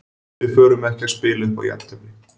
Við förum ekki að spila upp á jafntefli.